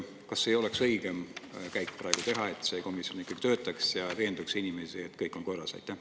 Kas see ei oleks praegu õigem käik, kui see komisjon ikkagi töötaks ja veenaks inimesi, et kõik on korras?